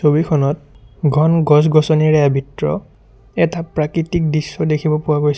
ছবিখনত ঘন গছ-গছনিৰে আবৃত এটা প্ৰাকৃতিক দৃশ্য দেখিবলৈ পোৱা গৈছে।